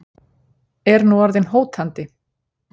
Er nú orðin hótandi.